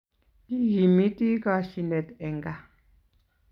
Kikimitii koshinet eng kaa